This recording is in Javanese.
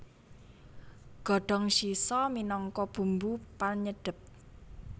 Godhong shiso minangka bumbu panyedhep